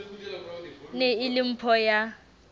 ne e le mpho ya